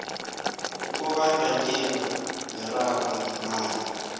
ukubandanyelwa miraro ngemali